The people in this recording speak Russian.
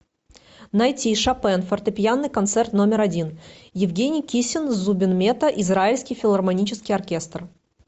найти шопен фортепианный концерт номер один евгений кисин с зубин мета израильский филармонический оркестр